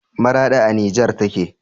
Maraɗi a nijer take